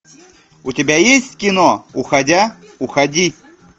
у тебя есть кино уходя уходи